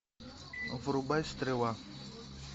врубай стрела